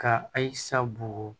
Ka ayisa bugu